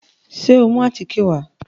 Ṣé o mú àtíkè wá?